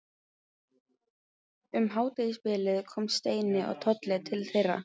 Um hádegisbilið koma Steini og Tolli til þeirra.